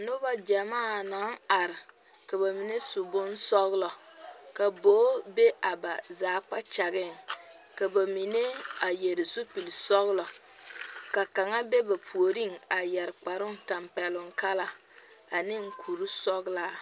Noba gyamaa naŋ are, ka ba mine su bonsɔglɔ ka bogi be a ba zaa kpakyagaŋ ka ba mine. a vɔgeli zupili sɔglɔ ka kaŋa. be ba puoriŋ a yɛre kpare tampɛloŋ ane kuri sɔglaa.